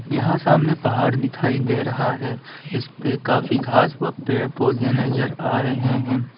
यहां सामने पहाड़ दिखाई दे रहा है इसपे काफी घास व पेड़ पौधे नजर आ रहे हैं।